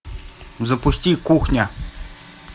запусти кухня